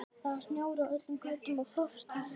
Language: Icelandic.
Það var snjór á öllum götum og frostharka.